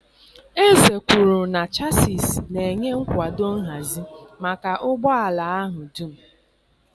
Eze kwuru na chassịs na-enye nkwado nhazi maka ụgbọ ala ahụ dum.